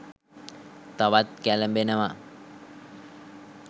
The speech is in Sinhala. තවත් කැලඹෙනවා.